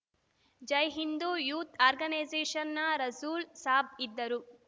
Jaihind youth ಆರ್ಗನೈಸೇಷನ್‌ನ ರಸೂಲ್‌ ಸಾಬ್‌ ಇದ್ದರು